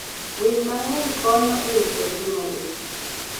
Winy mang'eny konyo e rito ngima le.